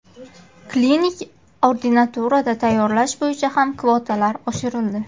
Klinik ordinaturada tayyorlash bo‘yicha ham kvotalar oshirildi.